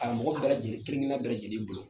A mɔgɔ bɛɛ lajɛlen kelen kelenna bɛɛ lajɛlen bolo.